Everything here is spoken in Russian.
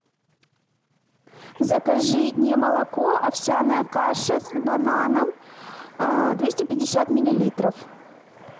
закажи немолоко овсяная каша с бананом двести пятьдесят миллилитров